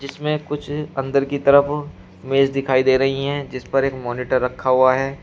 इसमें कुछ अंदर की तरफ मेज दिखाई दे रही हैं जीस पर एक मॉनिटर रखा हुआ है।